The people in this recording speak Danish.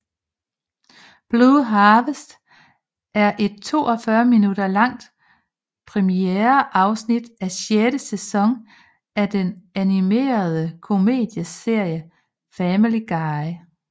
Blue Harvest er et 42 minutter langt premiereafsnit af sjette sæson af den animerede komedieserie Family Guy